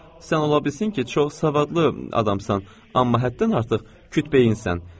“Sən ola bilsin ki, çox savadlı adamsan, amma həddən artıq küt beyinsən.”